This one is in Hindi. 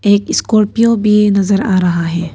एक स्कॉर्पियो भी नजर आ रहा है।